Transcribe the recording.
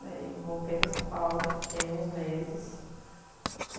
Daí voltei para São Paulo, fiquei uns meses.